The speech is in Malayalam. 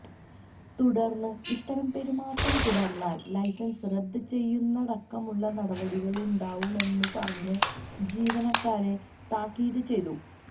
തുടർന്ന് ഇത്തരം പെരുമാറ്റം തുടർന്നാൽ ലൈസൻസ് റദ്ദ് ചെയ്യുന്നതടക്കമുള്ള നടപടികളുണ്ടാവുമെന്നുപറഞ്ഞ് ജീവനക്കാരെ താക്കീത് ചെയ്തു